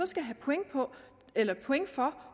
skal have point for